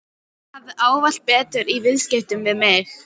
Hann hafði ávallt betur í viðskiptum við mig.